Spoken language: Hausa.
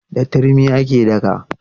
Da turmi ake daka.